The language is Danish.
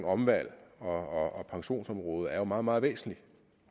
omvalg og pensionsområdet er jo meget meget væsentligt